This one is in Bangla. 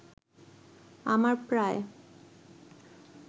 আমার প্রায়